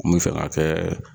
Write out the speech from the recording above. N bi fɛ ka kɛɛ